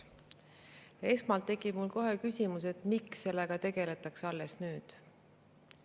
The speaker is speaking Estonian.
Esmalt tekib mul kohe küsimus, miks sellega tegeldakse alles nüüd.